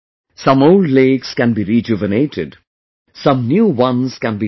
Some old lakes can be rejuvenated; some new ones can be dug